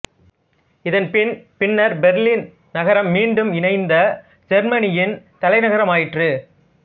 இணைப்பின் பின்னர் பெர்லின் நகரம் மீண்டும் இணைந்த செருமனியின் தலைநகராயிற்று